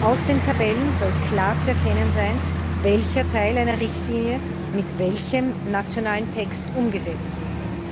Aus den Tabellen soll klar zu erkennen sein, welcher Teil einer Richtlinie mit welchem nationalen Text umgesetzt wird.